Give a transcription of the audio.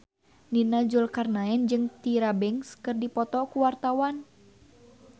Nia Zulkarnaen jeung Tyra Banks keur dipoto ku wartawan